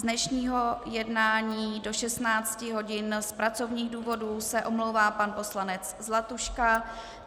Z dnešního jednání do 16 hodin z pracovních důvodů se omlouvá pan poslanec Zlatuška.